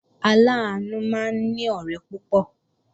Aláàánú máa ní ọ̀rẹ́ púpọ̀